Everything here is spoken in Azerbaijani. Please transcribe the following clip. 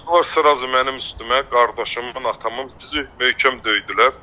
Qaçdılar srazu mənim üstümə, qardaşımı, atamın, bizi möhkəm döydülər.